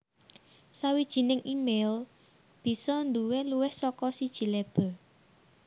Sawijining email bisa nduwé luwih saka siji label